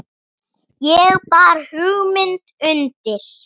Ég bar hugmynd undir